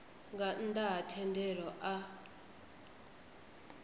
nga nnda ha thendelo a